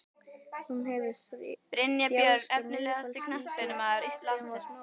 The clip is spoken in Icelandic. Hún hefur þjáðst af niðurfallssýki síðan hún var smábarn.